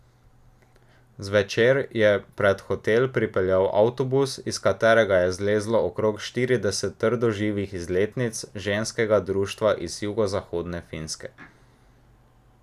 Zvečer je pred hotel pripeljal avtobus, iz katerega je zlezlo okrog štirideset radoživih izletnic Ženskega društva iz jugozahodne Finske.